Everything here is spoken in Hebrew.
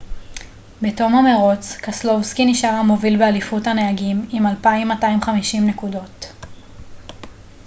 בתום המרוץ קסלובסקי נשאר המוביל באליפות הנהגים עם 2,250 נקודות